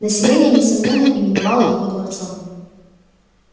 население несомненно именовало его дворцом